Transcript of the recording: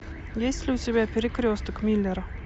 есть ли у тебя перекресток миллера